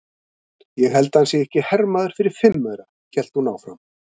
Ég held að hann sé ekki hermaður fyrir fimm aura, hélt hún áfram.